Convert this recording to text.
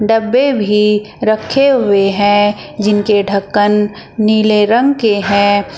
डब्बे भी रखे हुए हैं जिनके ढक्कन नीले रंग के हैं।